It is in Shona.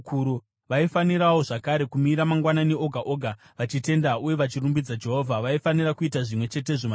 Vaifanirawo zvakare kumira mangwanani oga oga vachitenda uye vachirumbidza Jehovha. Vaifanira kuita zvimwe chetezvo manheru